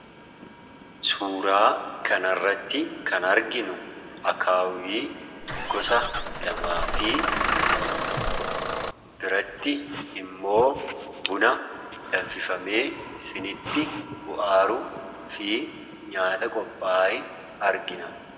Suuraa kana irratti kan arginu akaawwii gosa lamaa fi biratti immoo buna danfifamee siiniitti bu'aa jiruu fi nyaata qophaa'e argina